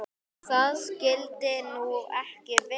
Það skyldi nú ekki vera?